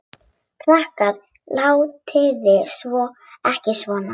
Krakkar látiði ekki svona!